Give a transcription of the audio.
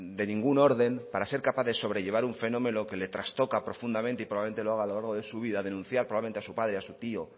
de ningún orden para ser capaz de sobrellevar un fenómeno que le trastoca profundamente y probablemente lo haga a lo largo de su vida denunciar probablemente a su padre o a su tío